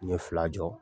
N ye fila jɔ